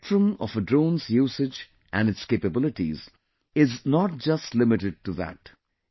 The spectrum of a drone's usage and its capabilities is not just limited to that